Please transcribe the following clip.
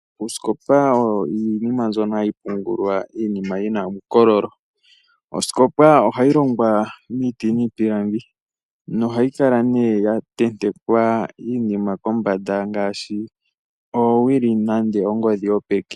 Osikopa oyo oshinima shono hashi pungulwa iinima shi na uukololo. Osikopa ohayi longwa miiti niipilangi nohayi kala ya tentekwa iinima pombanda ngaashi oowili nenge ongodhi yopeke.